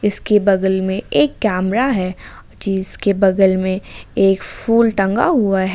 इसके बगल में एक कैमरा है जिसके बगल में एक फूल टंगा हुआ है।